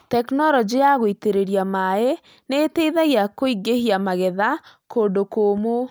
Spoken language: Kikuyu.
Tekinoronjĩ ya gũitĩrĩria maĩ nĩ ĩteithagia kũingĩhia magetha kũndũ kũũmũ.